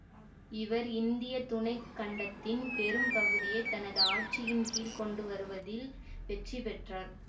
இவர் இந்திய துணை கண்டத்தின் பெரும் பகுதியை தனது ஆட்சியின் கீழ்க் கொண்டு வருவதில் வெற்றிபெற்றார்